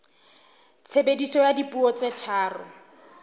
tshebediso ya dipuo tse tharo